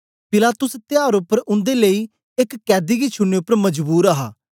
पिलातुस त्यार उपर उन्दे लेई एक कैदी गी छुड़ने उपर मजबूर हा